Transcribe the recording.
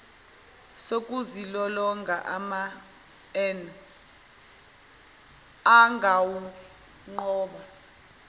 sokuzilolonga an gawunqoba